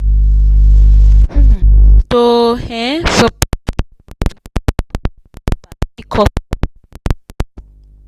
to um sup.